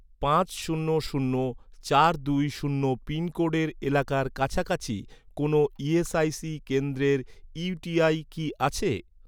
পাঁচ শূন্য শূন্য চার দুই শূন্য পিনকোডের এলাকার কাছাকাছি, কোনও ইএসআইসি কেন্দ্রের ইউটিআই কি আছে?